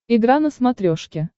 игра на смотрешке